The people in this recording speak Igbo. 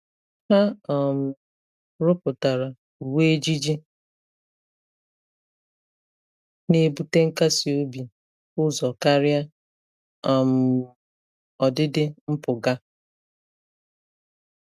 Ha um rụpụtara uwe ejiji na-ebute nkasi obi ụzọ karịa um ọdịdị mpụga.